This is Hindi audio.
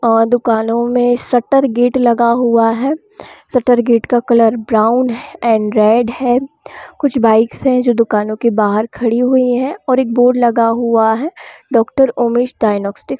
और दुकानों में शटर गेट लगा हुआ है शटर गेट का कलर ब्राउन एंड रेड है कुछ बाइक्स है जो दुकानों के बाहर खड़ी हुई है और एक बोर्ड लगा हुआ है डॉक्टर उमेश डिग्नोस्टिक --